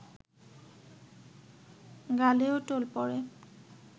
গালেও টোল পড়ে